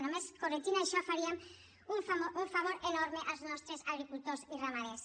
només corregint això faríem un favor enorme als nostres agricultors i ramaders